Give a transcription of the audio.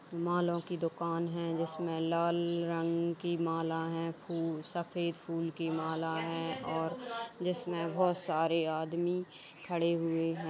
मालाओं की दुकान है। जिसमें लाल रंग की माला है। खूब सफेद फूल की माला है और जिसमें बहुत सारे आदमी खड़े हुए है।